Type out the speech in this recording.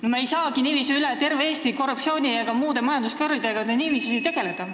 Nii me ei saagi ju üle terve Eesti korruptsiooni ega muude majanduskuritegudega tegeleda.